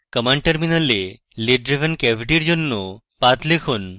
command টার্মিনালে lid driven cavity এর জন্য পাথ লিখুন